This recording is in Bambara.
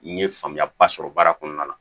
N ye faamuya ba sɔrɔ baara kɔnɔna la